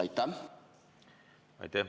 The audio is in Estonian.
Aitäh!